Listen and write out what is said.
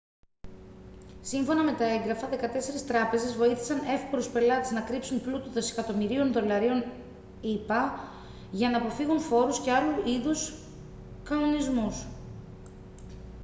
σύμφωνα με τα έγγραφα δεκατέσσερις τράπεζες βοήθησαν εύπορους πελάτες να κρύψουν πλούτο δισεκατομμυρίων δολαρίων ηπα για να αποφύγουν φόρους και άλλου είδους κανονισμούς